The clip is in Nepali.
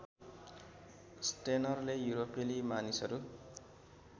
स्टेनरले युरोपेली मानिसहरू